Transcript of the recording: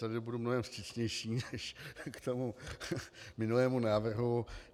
Tady budu mnohem vstřícnější než k tomu minulému návrhu.